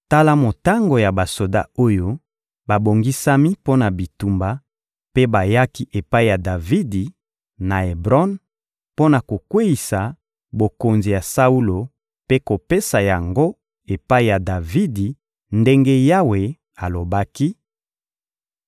Tala motango ya basoda oyo babongisami mpo na bitumba, mpe bayaki epai ya Davidi, na Ebron, mpo na kokweyisa bokonzi ya Saulo mpe kopesa yango epai ya Davidi ndenge Yawe alobaki: